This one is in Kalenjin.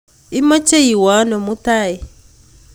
imeche iwe ano mutai?